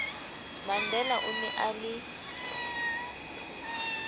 mandela o ne a le